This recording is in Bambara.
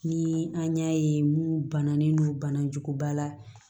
Ni an y'a ye mun bananen no bana juguba la